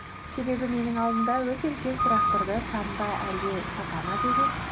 себебі менің алдымда өте үлкен сұрақ тұрды сан ба әлде сапа ма деген